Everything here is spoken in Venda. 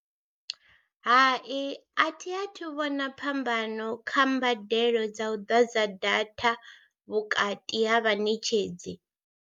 Hai a thi a thu vhona phambano kha mbadelo dza u ḓadza data vhukati ha vhaṋetshedzi.